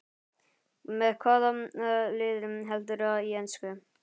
Með hvaða liði heldurðu í ensku?